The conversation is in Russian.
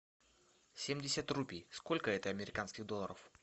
семьдесят рупий сколько это американских долларов